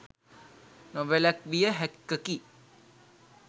නොවැලැක්විය හැක්කකි